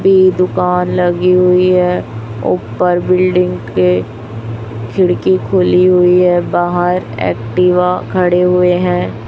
पे दुकान लगी हुई है ऊपर बिल्डिंग के खिड़की खुली हुई है बाहर एक्टिवा खड़े हुए है।